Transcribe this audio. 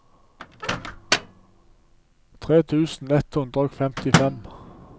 tre tusen ett hundre og femtifem